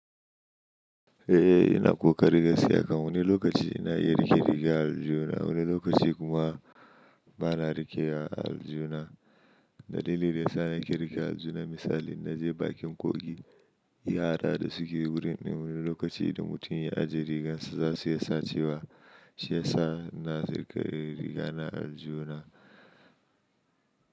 Eh, ina ƙoƙari gaskiya kam. Wani lokaci ina iya rike riga aljuna, wani lokaci kuma bana rikewa a aljihuna. Dalilin da yasa nake rikewa a aljihuna misali inaje bakin kogi, yara da suke wurin in wani lokaci da mutum ya ajiye rigansa zasu iya sacewa. Shiyasa ina rike rigana a aljihuna.